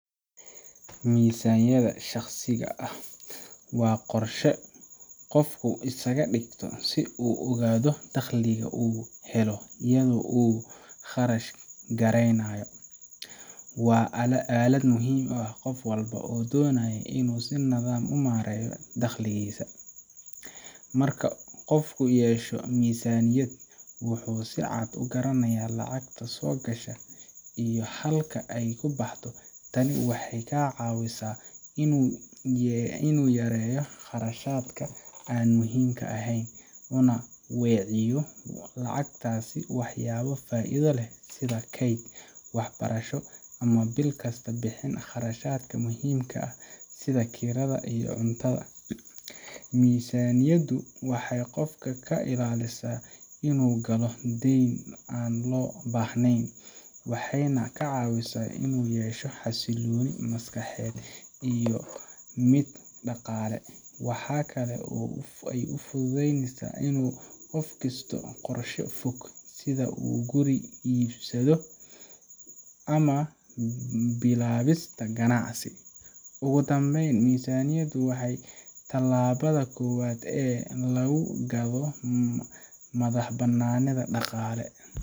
Miisaaniyadda shakhsiga ah waa qorshe qofku iskaga dhigto si uu u ogaado dakhliga uu helo iyo sida uu u kharash gareynayo. Waa aalad muhiim u ah qof walba oo doonaya inuu si nidaamsan u maareeyo dhakhligiisa. Marka qofku yeesho miisaaniyad, wuxuu si cad u garanayaa lacagta soo gasha iyo halka ay ku baxdo. Tani waxay ka caawisaa inuu yareeyo kharashaadka aan muhiimka ahayn, una weeciyo lacagtaas waxyaabo faa’iido leh sida keyd, waxbarasho, ama bil kasta bixin kharashaadka muhiimka ah sida kirada iyo cuntada. Miisaaniyaddu waxay qofka ka ilaalisaa inuu galo deyn aan loo baahnayn, waxayna ka caawisaa inuu yeesho xasillooni maskaxeed iyo mid dhaqaale. Waxa kale oo ay fududaynesaa in qofku dhisto qorshe fog sida guri iibsasho ama bilaabista ganacsi. Ugu dambayn, miisaaniyaddu waa talaabada koowaad ee lagu gaadho madaxbannaani dhaqaale.